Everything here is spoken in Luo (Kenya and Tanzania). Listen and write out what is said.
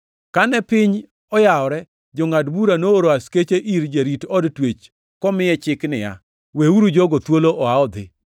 Kane piny oyawore, jangʼad bura nooro askechene ir jarit od twech komiye chik niya, “Weuru jogo thuolo oa odhi.”